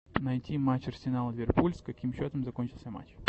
найти матч арсенал ливерпуль с каким счетом закончился матч